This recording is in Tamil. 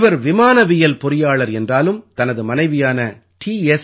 இவர் விமானவியல் பொறியாளர் என்றாலும் தனது மனைவியான டீ